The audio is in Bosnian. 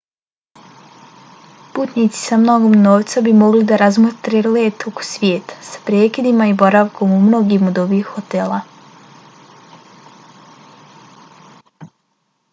putnici sa mnogo novca bi mogli da razmotre let oko svijeta sa prekidima i boravkom u mnogim od ovih hotela